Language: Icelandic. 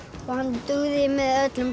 og hann dugði með öllum